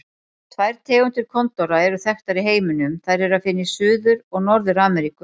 Tvær tegundir kondóra eru þekktar í heiminum, þær er að finna í Suður- og Norður-Ameríku.